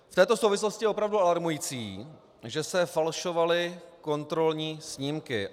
V této souvislosti je opravdu alarmující, že se falšovaly kontrolní snímky.